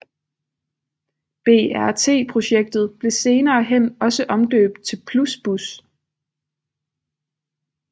BRT projektet blev senere hen også omdøbt til Plusbus